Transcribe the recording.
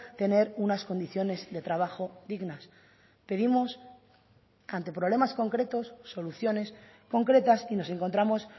tener unas condiciones de trabajo dignas pedimos ante problemas concretos soluciones concretas y nos encontramos